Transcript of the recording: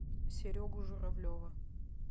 серегу журавлева